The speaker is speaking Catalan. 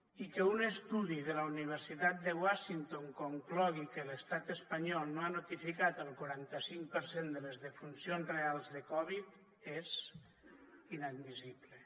i que un estudi de la universitat de washington conclogui que l’estat espanyol no ha notificat el quaranta cinc per cent de les defuncions reals de covid és inadmissible